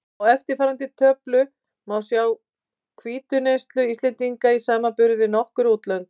Á eftirfarandi töflu má sjá hvítuneyslu Íslendinga í samanburði við nokkur útlönd.